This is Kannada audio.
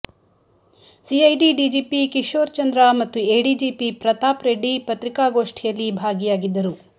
ಸಿಐಡಿ ಡಿಜಿಪಿ ಕಿಶೋರ್ ಚಂದ್ರ ಮತ್ತು ಎಡಿಜಿಪಿ ಪ್ರತಾಪ್ ರೆಡ್ಡಿ ಪತ್ರಿಕಾಗೋಷ್ಠಿಯಲ್ಲಿ ಭಾಗಿಯಾಗಿದ್ದರು